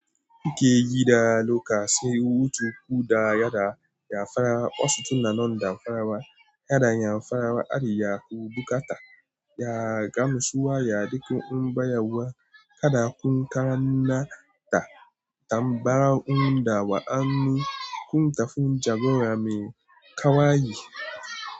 Kike yi da loka sai wutu ku da yada ya farawa. Wasu tunnanan da farawa, yana iya farawa ari ya ku bukata. Ya gamsuwa ya duki unba yawa kada kun kara na ta tambarar un da wa'anni kun tafi jagora mai ƙawaye.